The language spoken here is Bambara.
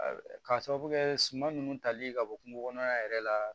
K'a sababu kɛ suman ninnu tali ka bɔ kungo kɔnɔla yɛrɛ la